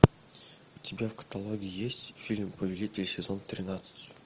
у тебя в каталоге есть фильм повелитель сезон тринадцать